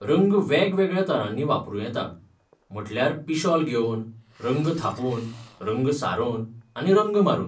रंग वेगवेगळ्या तरांनी वापरूं येता, म्हटल्यार पिशॉल घेवन, रंग थापून, रंग सारोवन, आनी रंग मारून.